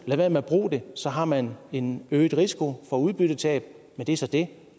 lad være med at bruge det så har man en øget risiko for udbyttetab men det er så det